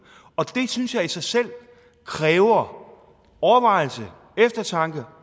og det synes jeg i selv selv kræver overvejelse eftertanke